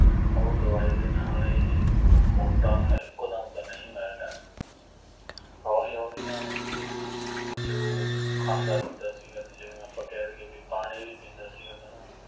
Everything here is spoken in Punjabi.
ਉਹ ਦਵਾਈ ਦੇ ਨਾਲ ਇਹ ਮੋਟਾ ਇੱਕੋ ਦਮ ਤਾ ਨਹੀਂ ਹੋਇਆ ਹੈਗਾ ਹੌਲੀ ਹੌਲੀ ਨਾ ਬਈ ਜੋ ਖਾਂਦਾ ਪੀਂਦਾ ਸੀਗਾ, ਜਿਵੇਂ ਆਪਾਂ ਕਹਿ ਦੇਈਏ ਬਈ ਪਾਣੀ ਵੀ ਪੀਂਦਾ ਸੀਗਾ ਤਾਂ ਨਾ